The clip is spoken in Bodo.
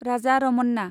राजा रमन्ना